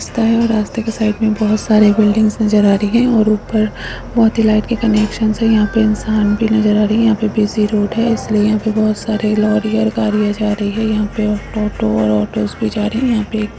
रास्ता है और रास्ते के साइड में बहुत सारी बिल्डिंग्स नजर आ रही हैं और ऊपर बहुत ही लाइट के कनेक्शंस हैं। यहाँ पे इंसान भी नजर आ रही है। यहाँ पे बिजी रोड हैं इसलिए यहाँ पे बहुत सारी लॉरी और गाड़ियाँ जा रही हैं। यहाँ पे टोटो और ऑटोस भी जा रही हैं और यहां पे एक --